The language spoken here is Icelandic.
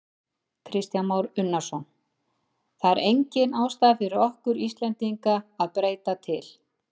Kristján Már Unnarsson: Það er engin ástæða fyrir okkur Íslendinga að breyta til?